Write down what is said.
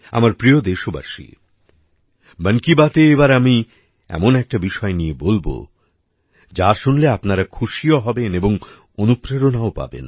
আমার প্রিয় দেশবাসী মন কি বাতএ এবার আমি এমন একটি বিষয় নিয়ে বলব যা শুনলে আপনারা খুশিও হবেন এবং অনুপ্রেরণাও পাবেন